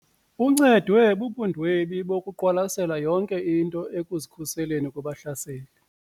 Uncedwe bubundwebi bokuqwalasela yonke into ekuzikhuseleni kubahlaseli.